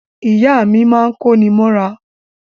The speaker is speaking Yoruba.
Ìyá mi máa ń kóni mọ́ra